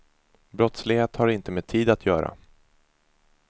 Brottslighet har inte med tid att göra.